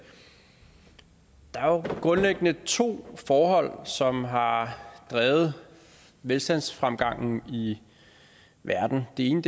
der er jo grundlæggende to forhold som har drevet velstandsfremgangen i verden det ene